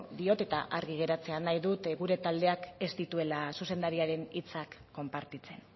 diot eta argi geratzea nahi dut gure taldeak ez dituela zuzendariaren hitzak konpartitzen